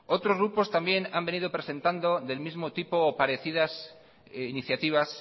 otros grupos también han venido presentando del mismo tipo o parecidas iniciativas